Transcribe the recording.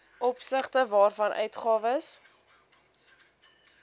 opsigte waarvan uitgawes